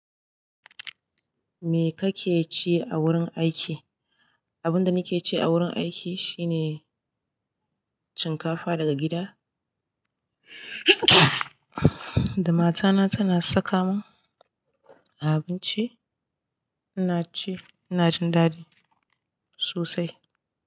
Me kake ci a wurin aiki? Abun da nake ci a wurin aiki shine shinkafa daga gida da mata na tana saka min abinci, ina ci, ina jin dadi sosai.